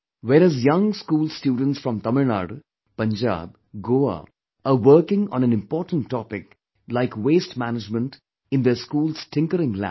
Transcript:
Whereas young school students from Tamil Nadu, Punjab, Goa are working on an important topic like waste management in their school's tinkering lab